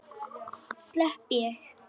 Slepp ég?